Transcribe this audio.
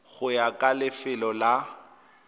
go ya ka lefelo la